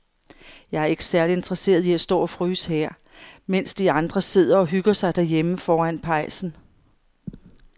Jeg er ikke særlig interesseret i at stå og fryse her, mens de andre sidder og hygger sig derhjemme foran pejsen.